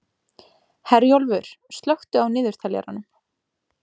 Herjólfur, slökktu á niðurteljaranum.